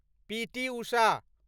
पीटी उषा